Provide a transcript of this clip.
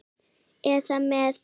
eða með